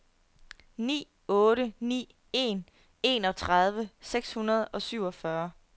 ni otte ni en enogtredive seks hundrede og syvogfyrre